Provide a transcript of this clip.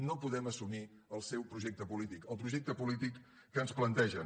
no podem assumir el seu projecte polític el projecte polític que ens plantegen